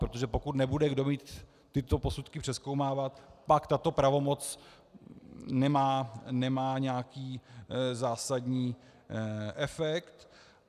Protože pokud nebude kdo mít tyto posudky přezkoumávat, pak tato pravomoc nemá nějaký zásadní efekt.